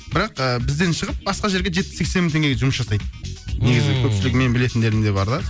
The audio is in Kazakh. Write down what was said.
бірақ ы бізден шығып басқа жерге жетпіс сексен мың теңгеге жұмыс жасайды ммм негізі көпшілігі менің білетіндерім де бар да